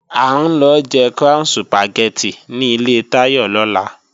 À ń lọ jẹ Crown Sùpàgẹ́tì ní ilé Táyọ̀ lọ́la